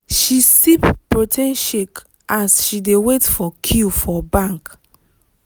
she sip protein shake as she dey wait for queue for bank.